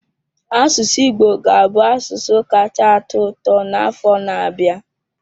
Asụsụ Igbo ga-abụ asụsụ kacha atọ ụtọ n'afọ na-abịa.